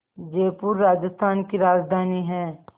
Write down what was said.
जयपुर राजस्थान की राजधानी है